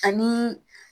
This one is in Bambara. Ani